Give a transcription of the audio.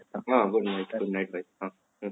good night good night ଭାଇ ହଁ ହଁ